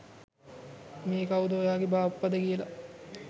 මේ කවුද ඔයාගෙ බාප්පද කියල.